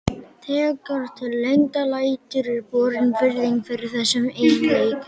Þegar til lengdar lætur er borin virðing fyrir þessum eiginleikum.